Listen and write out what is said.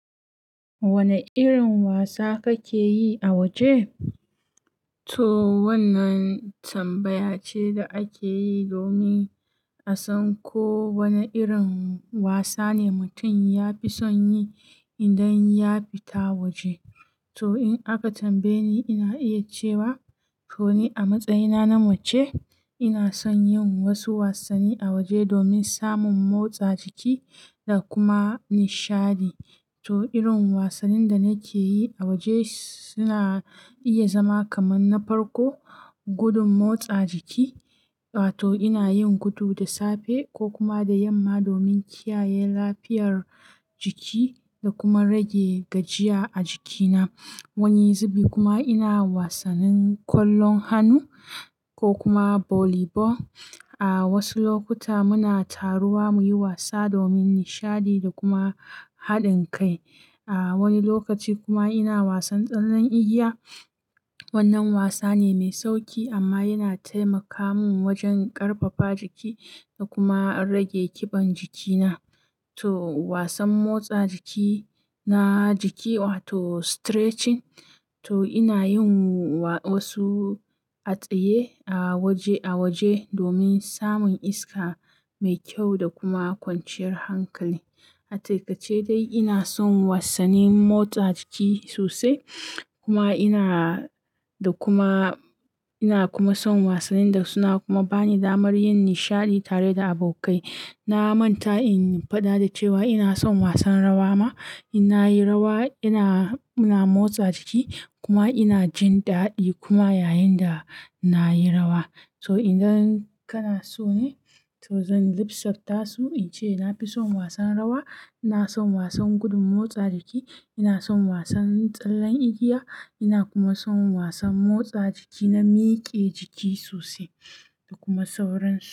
Wane irin wasa kake yi a waje? To wannan tambaya ce da ake yi domin a san ko wane irin wasa ne mutum ya fi son yi idan ya fita waje. To in aka tambaye ni, ina iya cewa to ni a matsayina na mace ina son yin wasu wasanni a waje domin samun motsa jiki da kuma nishaɗi. To irin wasannin da nake yi a waje suna iya zama kaman na farko, gudun motsa jiki. Wato ina yin gudu da safe ko kuma da yamma domin kiyaye lafiyar jiki da kuma rage gajiya a jikina. Wani zubi kuma ina wasannin kwallon hannu ko kuma volley ball. A wasu lokuta muna taruwa muyi wasa domin nishaɗi da kuma haɗin kai. Wani lokaci kuma ina wasan tsallen igiya. Wannan wasa ne mai sauƙi amma yana taimaka mun wajen ƙarfafa jikina da kuma rage ƙiban jikina. To wasan motsa jiki na jiki wato stretching. To ina yin wasu atsaye a waje domin samun iska mai kyau da kuma kwanciyar hankali. Ataƙaice dai ina son wasannin motsa jiki sosai kuma ina da kuma ina kuma son wasannin da suna kuma bani damar yin nishaɗi tare da abokai. Na manta in faɗa da cewa ina son wasan rawa ma. Inna yi rawa ina, muna motsa jiki kuma ina jin daɗi kuma yayin da nayi rawa. So idan kana so ne to zan lissa faso in ce na fi son wasan rawa, ina son wasan gudun motsa jiki, ina son wasan tsallen igiya ina kuma son wasan motsa jiki na mike jiki sosai da kuma sauransu.